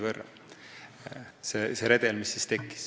Ma pean silmas redelit, mis siis tekkis.